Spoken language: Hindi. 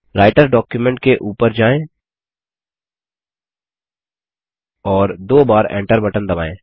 राइटर डॉक्युमेंट के ऊपर जायें और दो बार Enter बटन दबायें